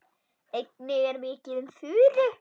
Einnig er mikið um furu.